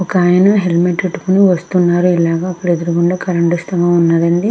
ఒక ఆయన హెల్మెట్ పెట్టుకొని వస్తున్నాడ్ ఇలాగ అక్కడ ఎదురుగుండగా స్తంభం వుంది అండి.